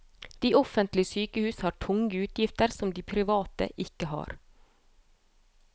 De offentlige sykehus har tunge utgifter som de private ikke har.